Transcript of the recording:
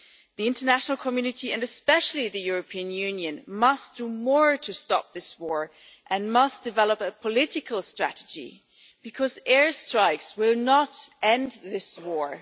The international community and especially the European Union must do more to stop this war and must develop a political strategy, because air strikes will not end this war.